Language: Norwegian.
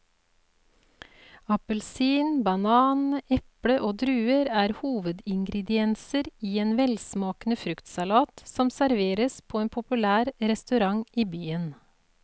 Appelsin, banan, eple og druer er hovedingredienser i en velsmakende fruktsalat som serveres på en populær restaurant i byen.